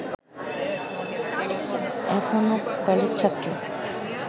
এখনো কলেজছাত্র